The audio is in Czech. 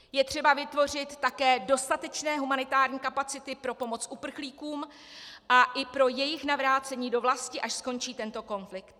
Je třeba vytvořit také dostatečné humanitární kapacity pro pomoc uprchlíkům a i pro jejich navrácení do vlasti, až skončí tento konflikt.